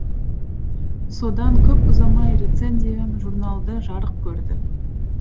содан көп ұзамай рецензиям журналда жарық көрді